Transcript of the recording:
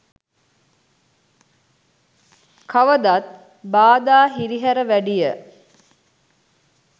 කවදත් බාධා හිරිහෑර වෑඩිය